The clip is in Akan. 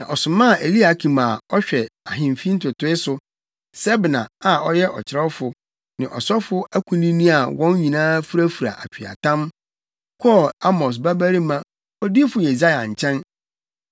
Na ɔsomaa Eliakim a ɔhwɛ ahemfi ntotoe so, Sebna, a ɔyɛ ɔkyerɛwfo ne asɔfo akunini a wɔn nyinaa furafura atweaatam, kɔɔ Amos babarima Odiyifo Yesaia nkyɛn.